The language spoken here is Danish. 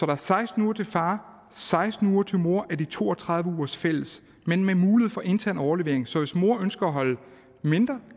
er seksten uger til far og seksten uger til mor af de to og tredive ugers fælles men med mulighed for intern overlevering så hvis mor ønsker at holde mindre